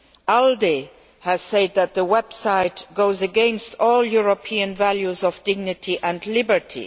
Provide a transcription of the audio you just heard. ALDE has said that the website goes against all European values of dignity and liberty.